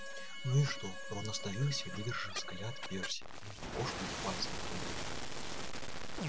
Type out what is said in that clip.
ну и что рон остановился и выдержал взгляд перси мы ведь кошку и пальцем не трогали